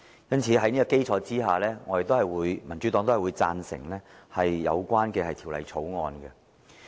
因此，在這個基礎上，民主黨贊成相關的《條例草案》。